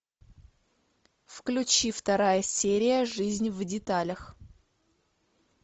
включи вторая серия жизнь в деталях